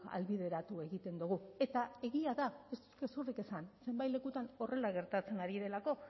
ahalbideratu egiten dugu eta egia da ez gezurrik esan zenbait lekutan horrela gertatzen ari delako